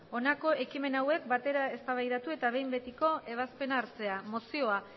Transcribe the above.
honako ekimen hauek batera eztabaidatu eta behin betiko ebazpena hartzea mozioa